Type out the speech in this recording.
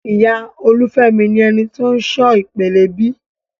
Ìyá Olufemi ni eni ti o n ṣọ ìpele B.